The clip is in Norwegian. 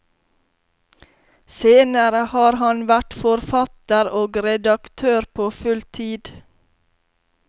Senere har han vært forfatter og redaktør på fulltid.